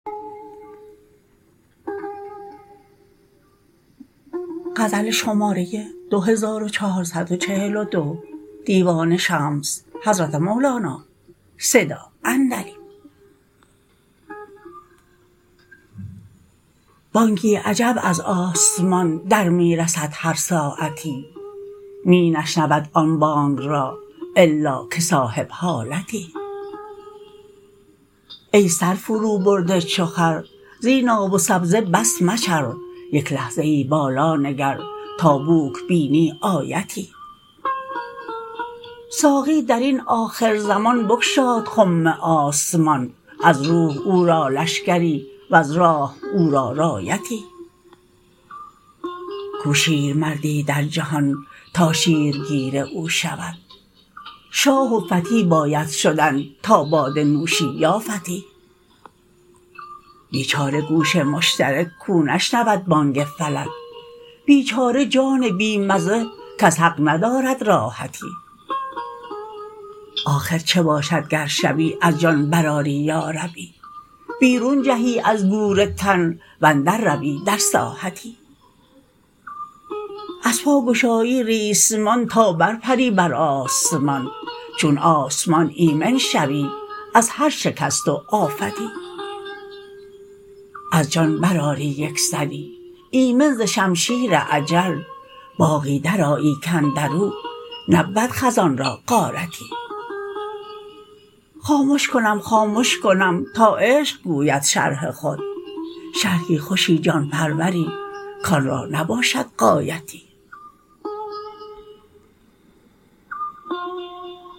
بانگی عجب از آسمان در می رسد هر ساعتی می نشنود آن بانگ را الا که صاحب حالتی ای سر فروبرده چو خر زین آب و سبزه بس مچر یک لحظه ای بالا نگر تا بوک بینی آیتی ساقی در این آخر زمان بگشاد خم آسمان از روح او را لشکری وز راح او را رایتی کو شیر مرد ی در جهان تا شیرگیر او شود شاه و فتی باید شدن تا باده نوشی یا فتی بیچاره گوش مشترک کاو نشنود بانگ فلک بیچاره جان بی مزه کز حق ندارد راحتی آخر چه باشد گر شبی از جان برآری یاربی بیرون جهی از گور تن و اندر روی در ساحتی از پا گشایی ریسمان تا برپری بر آسمان چون آسمان ایمن شوی از هر شکست و آفتی از جان برآری یک سری ایمن ز شمشیر اجل باغی درآیی کاندر او نبود خزان را غارتی خامش کنم خامش کنم تا عشق گوید شرح خود شرحی خوشی جان پرور ی کان را نباشد غایتی